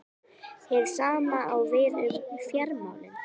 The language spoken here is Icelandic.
Hið sama á við um fjármálin.